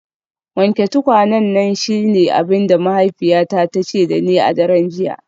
Wanke tukwanen nan shine abin da mahaifiyata ta ce da ni a daren jiya.